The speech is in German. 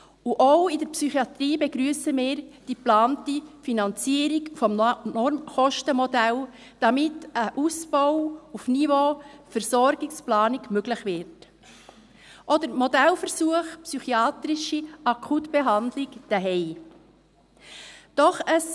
Auch in der Psychiatrie begrüssen wir die geplante Finanzierung des Normkostenmodells, damit ein Ausbau auf Niveau Versorgungsplanung möglich wird, auch der Modellversuch der psychiatrischen Akutbehandlung zu Hause.